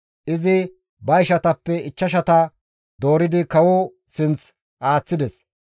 Izi ba ishatappe ichchashata dooridi kawoza sinth aaththides.